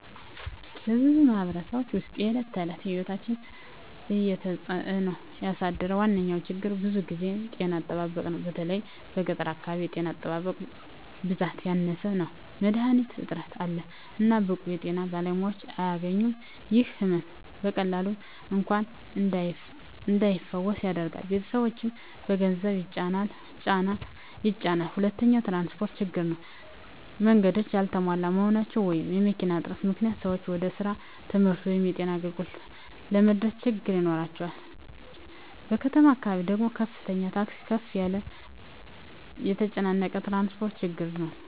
በብዙ ማኅበረሰቦች ውስጥ የዕለት ተዕለት ሕይወትን እየተጽእኖ ያሳደረ ዋነኛ ችግር ብዙ ጊዜ ጤና አጠባበቅ ነው። በተለይ በገጠር አካባቢ የጤና ጣቢያዎች ብዛት ያነሰ ነው፣ መድሀኒት እጥረት አለ፣ እና ብቁ የጤና ባለሙያዎች አያገኙም። ይህ ሕመም በቀላሉ እንኳን እንዳይፈወስ ያደርጋል፣ ቤተሰቦችንም በገንዘብ ይጫናል። ሁለተኛው ትራንስፖርት ችግር ነው። መንገዶች ያልተሟሉ መሆናቸው ወይም መኪና እጥረት ምክንያት ሰዎች ወደ ስራ፣ ትምህርት ወይም የጤና አገልግሎት ለመድረስ ችግኝ ይኖራቸዋል። በከተማ አካባቢ ደግሞ ከፍተኛ ታክሲ ክፍያ እና የተጨናነቀ ትራፊክ ችግር ነው።